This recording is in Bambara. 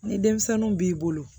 Ni denmisɛnninw b'i bolo